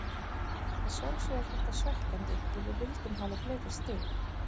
Að sjálfsögðu er þetta svekkjandi og við vildum hafa fleiri stig.